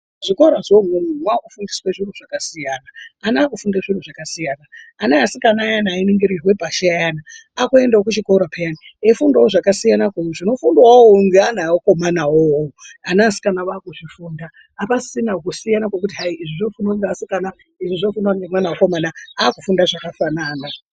Zvikora zvemunomu mwaakufundiswe zviro zvakasiyana, ana akufunde zviro zvakasiyana, ana asikana ayani ainingirirwe pashi ayani akuendewo kuchikora peyani eifunda zvakasiyana zvinofundawo iwowowo ngeana akomana iwowowo ana asikana ava kuzvifunda apasisina kusiyana zvekuti hayi izvi zvoofundwa ngevasikana izvi zvofundwa ngemwan womukomana akufunda zvakafanana.